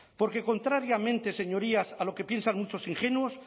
porque contrariamente señorías a lo que piensan muchos ingenuos